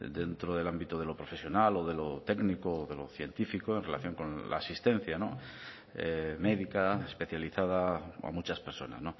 dentro del ámbito de lo profesional o de lo técnico o de lo científico en relación con la asistencia médica especializada a muchas personas